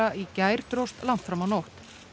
í gær dróst langt fram á nótt